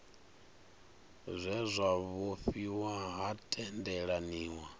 zwe zwa vhofhiwa ha tendelaniwa